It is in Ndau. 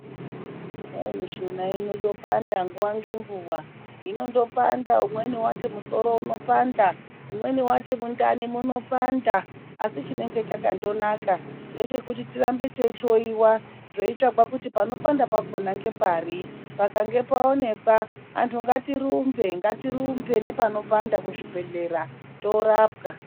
Hayi mishuna inondopanda nguwa ngenguwa, umweni wati musoro unopanda, umweni wati mundani munopanda, asi chinenge chakandonaka ngechekuti tirambe teihloiwa zveitsvagwa kuti panopanda pakona ngepari, pakange paonekwa, antu ngatirumbe, ngatirumbe nepanopanda kuzvibhedhlera, toorapwa.